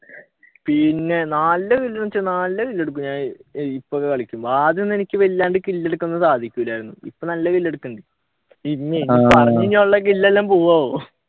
പിന്നെ നല്ല kill എന്ന് വെച്ച നല്ല kill എടുക്കും ഞാൻ ഇപ്പൊ കളിക്കുമ്പോൾ ആദ്യമൊന്നും എനിക്ക് വല്ലാണ്ട് kill എടുക്കാൻ സാധിക്കൂലായിരുന്നു ഇപ്പൊ നല്ല kill എടുക്കുന്നുണ്ട് പറഞ്ഞ കഴിഞ്ഞ ഉള്ള kill എല്ലാം പോകുവോ ആവോ